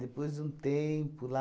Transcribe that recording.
Depois de um tempo lá,